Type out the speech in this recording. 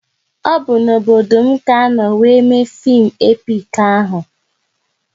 Ọ bụ n'obodo m ka anọ wéré mee fim epik ahụ